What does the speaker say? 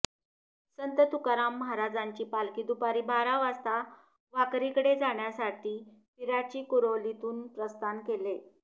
संत तुकाराम महाराजांची पालखी दुपारी बारा वाजता वाखरीकडे जाण्यासाठी पिराचीकुरोलीतुन प्रस्थान केले